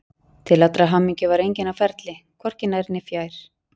Til allrar hamingju var enginn á ferli, hvorki nær né fjær.